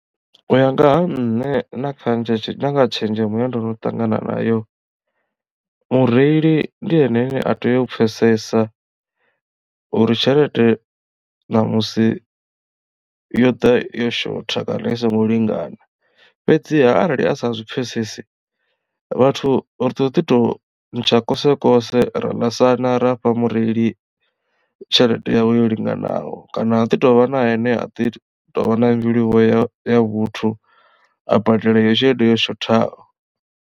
U ya nga ha nṋe na kha na tshenzhemo ine ndono ṱangana nayo mureili ndi ene ane a tea u pfhesesa uri tshelede namusi yo ḓa yo shotha kana i songo lingana fhedziha arali a sa zwi pfhesesi vhathu ri ḓo ḓi to ntsha kose kose ra ḽasana ra fha mureili tshelede yawe yo linganaho kana ha ḓi tovha na ane a ḓi tovha na mbilu vho ya ya vhuthu a badela eyo tshelede yo shothaho.